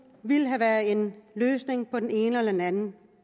ville have været en løsning på den ene eller anden